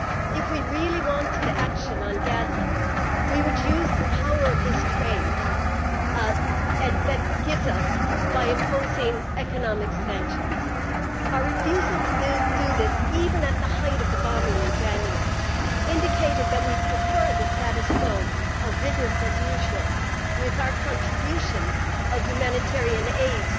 If we really wanted action on Gaza, we would use the power that this trade gives us by imposing economic sanctions. Our refusal to do this, even at the height of the bombing in January, indicated that we prefer the status quo of business as usual, with our contribution of humanitarian aid